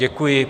Děkuji.